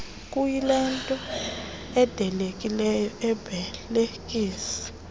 kuyilento ilindelekileyo umbelekisi